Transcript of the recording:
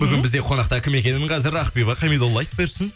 бүгін бізде қонақта кім екенін қазір ақбибі хамидолла айтып берсін